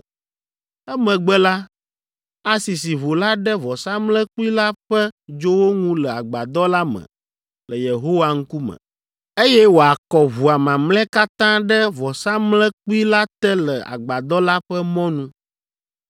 Emegbe la, asisi ʋu la ɖe vɔsamlekpui la ƒe dzowo ŋu le Agbadɔ la me le Yehowa ŋkume, eye wòakɔ ʋua mamlɛa katã ɖe vɔsamlekpui la te le Agbadɔ la ƒe mɔnu.